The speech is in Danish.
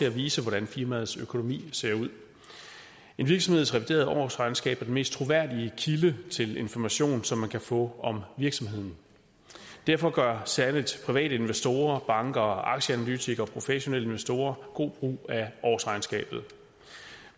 at vise hvordan firmaets økonomi ser ud en virksomheds reviderede årsregnskab mest troværdige kilde til den information som man kan få om virksomheden derfor gør særligt private investorer banker aktieanalytikere og professionelle investorer god brug af årsregnskabet